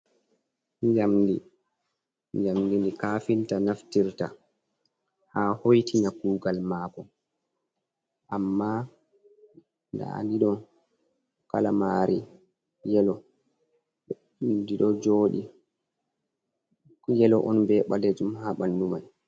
Jamdi, jamdi ni kafinta naftirta ha hoitina kugal mako amma daanidon kalamari yelo, ɗiɗo jodi yelo on be ɓalejum ha ɓandu mai.